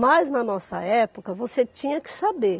Mas, na nossa época, você tinha que saber.